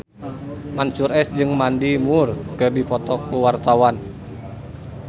Mansyur S jeung Mandy Moore keur dipoto ku wartawan